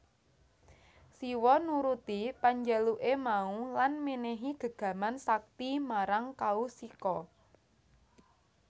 Siwa nuruti panjaluke mau lan menehi gegaman sakti marang Kaushika